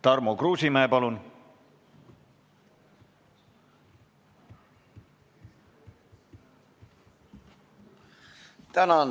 Tarmo Kruusimäe, palun!